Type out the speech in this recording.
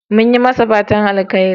Mun yi masa fatan alheri.